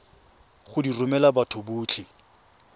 go di romela batho botlhe